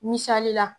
Misali la